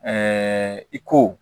i ko